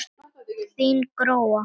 Þín Gróa.